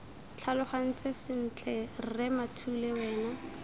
tlhalogantse sentle rre mathule wena